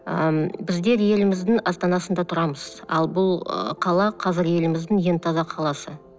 ы м біздер еліміздің астанасында тұрамыз ал бұл ы қала қазір еліміздің ең таза қаласы